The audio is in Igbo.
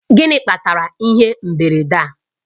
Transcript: Gịnị kpatara ihe mberede a?